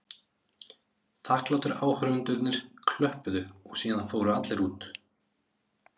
Þakklátir áhorfendurnir klöppuðu og síðan fóru allir út.